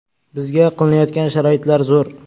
Bizga qilinayotgan sharoitlar zo‘r.